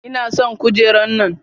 Ina son kujera nan.